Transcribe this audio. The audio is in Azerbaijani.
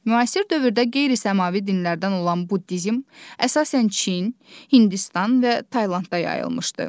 Müasir dövrdə qeyri-səmavi dinlərdən olan buddizm əsasən Çin, Hindistan və Taylandda yayılmışdır.